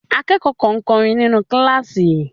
Akẹ́kọ̀ọ́ kan ń kọrin nínú kíláàsì.